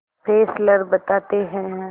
Fessler बताते हैं